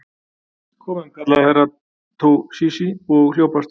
Komum, kallaði Herra Toshizi og hljóp af stað.